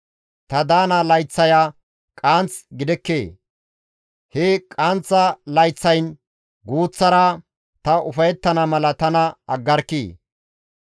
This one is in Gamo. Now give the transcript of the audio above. Ta daana layththaya qaanth gidekkee? he qaanththa layththayn guuththara ta ufayettana mala tana aggarkkii!